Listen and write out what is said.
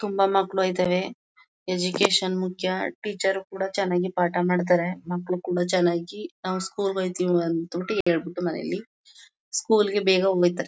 ತುಂಬಾ ಮಕ್ಳು ಒಯಿತಾರೆ. ಎಜುಕೇಶನ್ ಮುಖ್ಯ ಟೀಚರ್ ರು ಕೂಡ ಚನಾಗೆ ಪಾಠ ಮಾಡ್ತಾರೆ. ಮಕ್ಳು ಕೂಡ ಚನ್ನಾಗಿ ನಾವ್ ಸ್ಕೂಲ್ ಹೋಯ್ತಿವ್ ಅನ್ಬಿಟಿ ಹೆಳ್ಬಿಟು ಮನೇಲಿ ಸ್ಕೂಲ್ ಗೆ ಬೇಗ ಓಯ್ತಾರೆ.